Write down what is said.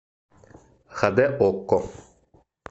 хд окко